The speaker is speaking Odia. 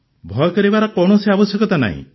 ଭୟ କରିବାର କୌଣସି ଆବଶ୍ୟକତା ନାହିଁ